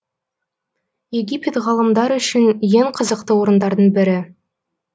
египет ғалымдар үшін ең қызықты орындардың бірі